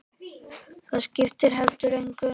Það skipti heldur engu.